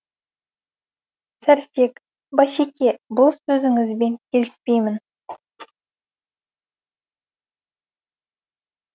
сәрсек басеке бұл сөзіңізбен келіспеймін